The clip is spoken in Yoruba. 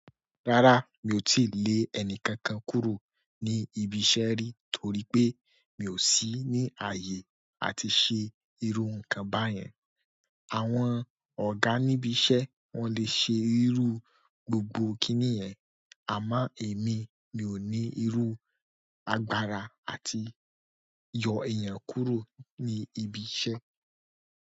Rárá, mi ò tíì lé ẹni kankan kúrò ní ibi iṣẹ́ rí torí pé mi ò sí ní ààyè àti ṣe irú nǹkan báyẹn. Àwọn ọ̀gá níbi iṣẹ́ wọ́n le ṣe irú gbogbo kinni yẹn, àmọ́ èmi, mi ò ní irú agbára àti yọ èèyàn kúrò ní ibi iṣẹ́.